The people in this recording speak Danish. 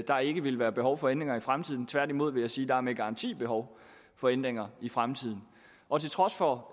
der ikke vil være behov for ændringer i fremtiden tværtimod vil jeg sige at der med garanti er behov for ændringer i fremtiden og til trods for